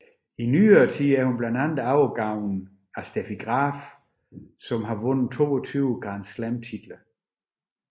I nyere tid er hun blandt andre overgået af Steffi Graf der har vundet 22 Grand Slam titler